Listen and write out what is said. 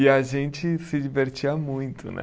E a gente se divertia muito, né?